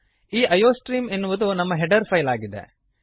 ಈ ಐಯೋಸ್ಟ್ರೀಮ್ ಎನ್ನುವುದು ನಮ್ಮ ಹೆಡರ್ ಫೈಲ್ ಆಗಿದೆ